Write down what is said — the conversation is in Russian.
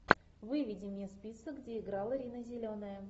выведи мне список где играла рина зеленая